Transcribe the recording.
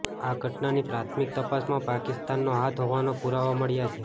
આ ઘટનાની પ્રાથમિક તપાસમાં પાકિસ્તાનનો હાથ હોવાના પુરાવા મળ્યા છે